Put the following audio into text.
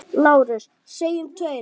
LÁRUS: Segjum tveir!